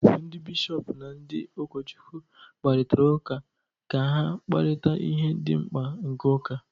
Ndị Bishọp na ndị ụkọchukwu kparịtara ụka ka ha kparịta ihe dị mkpa nke ụka